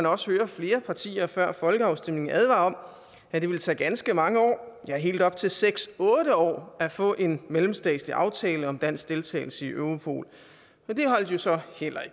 også høre flere partier før folkeafstemningen advare om at det ville tage ganske mange år ja helt op til seks otte år at få en mellemstatslig aftale om dansk deltagelse i europol det holdt så heller